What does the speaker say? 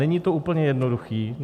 Není to úplně jednoduché.